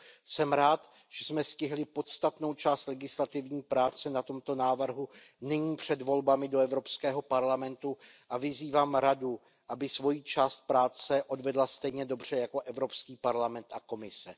Jsem rád, že jsme stihli podstatnou část legislativní práce na tomto návrhu nyní před volbami do Evropského parlamentu, a vyzývám Radu, aby svoji část práce odvedla stejně dobře jako Evropský parlament a Komise.